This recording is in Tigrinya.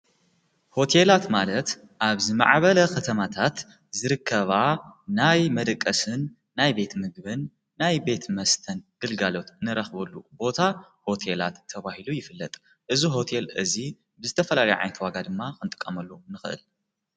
ሆቴላት ማለት ኣብዝ መዓበለ ኽተማታት ዝርከባ ናይ መደቀስን ናይ ቤት ምግብን ናይ ቤት መስተን ድልጋሎት ንረኽበሉ ቦታ ሆቴላት ተብሂሉ ይፍለጥ እዝ ሆቴል እዙይ ብዝተፈላልዓይተዋጋ ድማ ኽንጥቃመሉ ንኽእል።